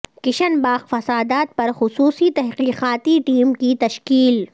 کشن باغ فسادات پر خصوصی تحقیقاتی ٹیم کی تشکیل